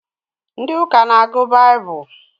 Ndị ụka n'agụ baibulu